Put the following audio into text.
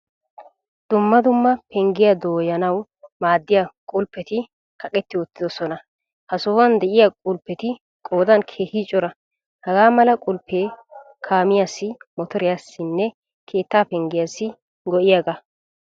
Dumma dumma penggiyaa dooyanawu maadiyaa qulppetti kaqqetti uttidoosona. Ha sohuwaan de'iyaa quppetti qoodan keehin cora. Hagaamala qulppe kaamiyaassi, motoriyassine keettaa penggiyassi go'iyaga.